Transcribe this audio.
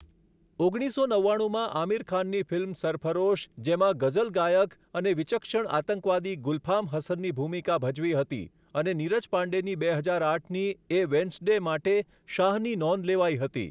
ઓગણીસસો નવ્વાણુમાં આમિર ખાનની ફિલ્મ સરફરોશ જેમાં ગઝલ ગાયક અને વિચક્ષણ આતંકવાદી ગુલફામ હસનની ભૂમિકા ભજવી હતી અને નીરજ પાંડેની બે હજાર આઠની એ વેન્સ્ડે માટે શાહની નોંધ લેવાઈ હતી.